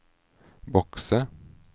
bokse